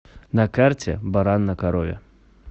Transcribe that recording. на карте баран на корове